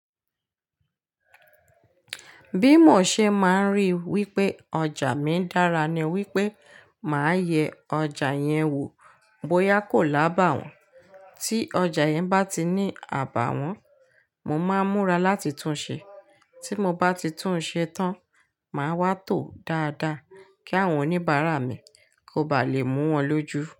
Bí mo ṣe máa ń rí wípé ọjà mi ń dára ni wípé máa yẹ ọjà yẹn wò bóyá kò lábàwọ́n, tí ọjà yẹn bá ti ní àbàwọ́n, mo máa ń múra láti tunṣe. Tí mo bá ti tunṣe tán, màá wá tòó dáadáa kí àwọn oníbàárà mi kó ba lè mú wọn lójú.